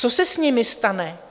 Co se s nimi stane?